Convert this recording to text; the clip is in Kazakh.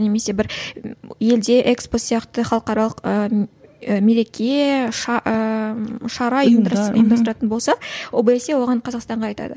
немесе бір елде экспо сияқты халықаралық ы мереке ыыы шара ұйымдастыратын болса обсе оған қазақстанға айтады